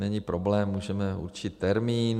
Není problém, můžeme určit termín.